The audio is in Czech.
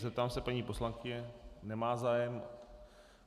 Zeptám se paní poslankyně - nemá zájem.